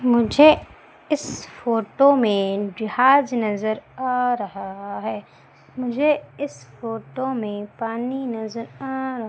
मुझे इस फोटो में जहाज नजर आ रहा है मुझे इस फोटो में पानी नजर आ रहा--